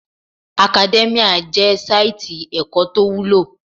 Academia jẹ́ sáìtì ẹ̀kọ́ tó wúlò